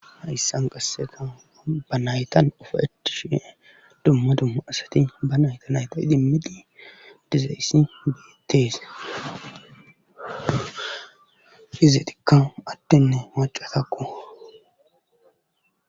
hayssan qasseka ba naytan ufaetishe dumma dumma asati ba nayta nayta idimidi dizayssi beitteese izetikka addenne macatakko